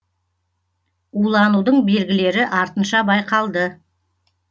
уланудың белгілері артынша байқалды